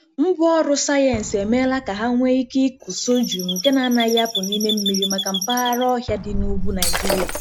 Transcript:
Ngwaọrụ sayensị emeela ka ha nwee ike ịkụ sorghum nke na-anaghị apụ n’ime mmiri, maka mpaghara ọhịa dị n’ugwu Naịjirịa.